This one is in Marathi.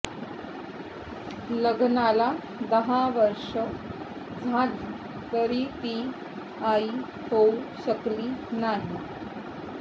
लग्नाला दहा वर्षे झाली तरी ती आई होऊ शकली नाही